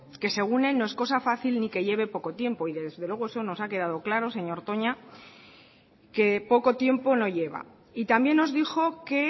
que según él no es cosa fácil ni que lleve poco tiempo y desde luego eso nos ha quedado claro señor toña que poco tiempo no lleva y también nos dijo que